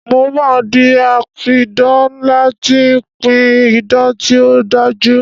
Mo máa di apidán ńlá tí ó ń pí idán tí ó dájú